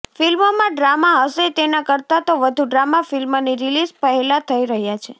ફિલ્મમાં ડ્રામા હશે તેના કરતાં તો વધુ ડ્રામા ફિલ્મની રિલીઝ પહેલાં થઇ રહ્યા છે